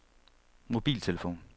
mobiltelefon